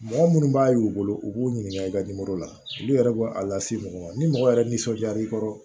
Mɔgɔ minnu b'a y'u bolo u k'u ɲininka i ka la olu yɛrɛ b'o a lase mɔgɔ ma ni mɔgɔ yɛrɛ nisɔndiyara i kɔrɔ